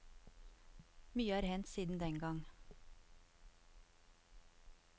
Mye er hendt siden den gang.